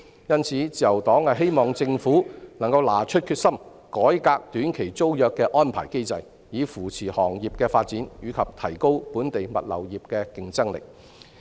因此，自由黨希望政府能夠拿出決心改革短期租約的安排機制，以扶持行業的發展及提高本地物流業的競爭力。